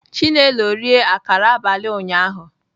Chinelo rie akara abalị ụnyahụ